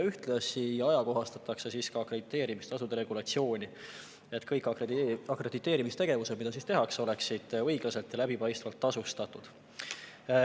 Ühtlasi ajakohastatakse akrediteerimistasude regulatsiooni, et kõik akrediteerimistegevused, mida tehakse, oleksid õiglaselt ja läbipaistvalt tasustatud.